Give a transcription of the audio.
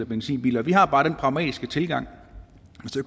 benzinbiler vi har bare den pragmatiske tilgang